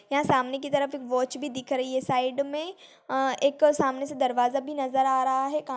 यह सामने की तरफ एक वॉच भी दिख रही है साइड में अ एक सामने से दरवाजा भी नजर आ रहा है।